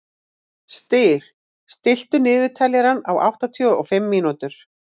Styr, stilltu niðurteljara á áttatíu og fimm mínútur.